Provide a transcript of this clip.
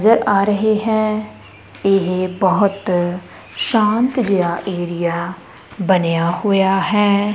ਨਜਰ ਆ ਰਹੇ ਹੈਂ ਇਹ ਬੋਹੁਤ ਸ਼ਾਂਤ ਜੇਹਾ ਏਰੀਆ ਬਣਿਆ ਹੋਇਆ ਹੈ।